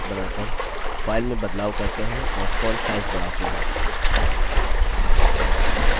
अतः चलिए bold headings बनाकर file में बदलाव करते हैं और font size बढ़ाते हैं